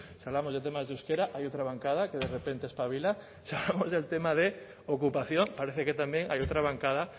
si hablamos de temas de euskera hay otra bancada que de repente espabila si hablamos del tema de ocupación parece que también hay otra bancada